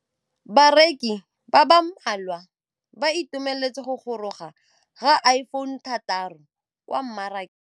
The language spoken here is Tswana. Bareki ba ba malwa ba ituemeletse go gôrôga ga Iphone6 kwa mmarakeng.